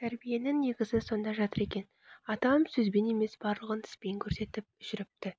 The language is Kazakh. тәрбиенің негізі сонда жатыр екен атам сөзбен емес барлығын іспен көрсетіп жүріпті